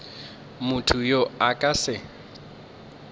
motho yo a ka se